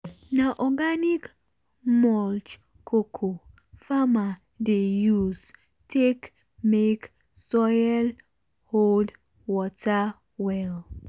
na organic mulch cocoa farmer dey use take make soil hold water well.